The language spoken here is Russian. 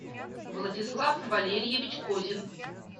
владислав валерьевич козин